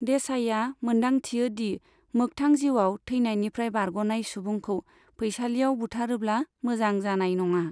देसाईआ मोनदांथियो दि मोख्थां जिउआव थैनायनिफ्राय बारग'नाय सुबुंखौ फैसालियाव बुथारोब्ला मोजां जानाय नङा।